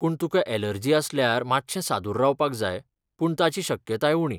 पूण तुका यॅलर्जी आसल्यार मात्शें सादूर रावपाक जाय, पूण ताची शक्यताय उणी.